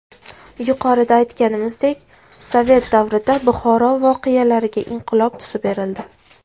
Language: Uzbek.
Yuqorida aytganimizdek, Sovet davrida Buxoro voqealariga inqilob tusi berildi.